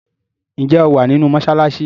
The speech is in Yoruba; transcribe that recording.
ǹjẹ́ ó wà nínú “ mọsálásí”?